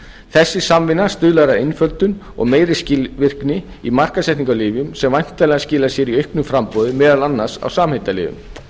þessi samvinna stuðlar að einföldun og meiri skilvirkni í markaðssetningu á lyfjum sem væntanlega skilar sér í auknu framboði meðal annars á samheitalyfjum